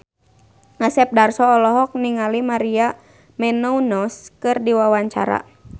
Asep Darso olohok ningali Maria Menounos keur diwawancara